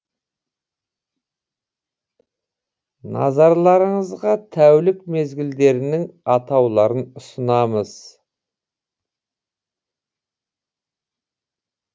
назарларыңызға тәулік мезгілдерінің атауларын ұсынамыз